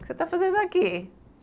O que você está fazendo aqui?